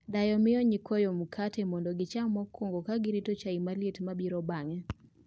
Dayo miyo nyikwayo mkati mondo gicham mokwongo ka girito chai maliet mabiro bang'e